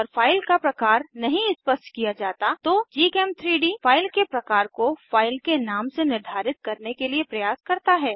अगर फाइल का प्रकार नहीं स्पष्ट किया जाता तो gchem3डी फाइल के प्रकार को फाइल के नाम से निर्धारित करने के लिए प्रयास करता है